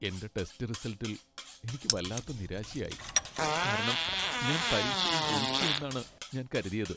എന്റെ ടെസ്റ്റ് റിസൽട്ടിൽ എനിക്ക് വല്ലാതെ നിരാശയായി , കാരണം ഞാൻ പരീക്ഷയിൽ ജയിച്ചു എന്നാണ് ഞാൻ കരുതിയത് .